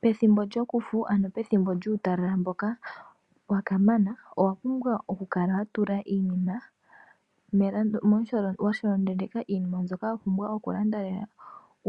Pethimbo lyokufu ano pethimbo lyuutalala mboka wa kamana, owa pumbwa oku tula iinima washolondondeka iinima mbyoka wa pumbwa oku landa lela.